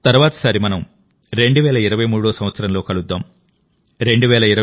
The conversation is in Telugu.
తర్వాతిసారి మనం 2023 సంవత్సరంలో కలుద్దాం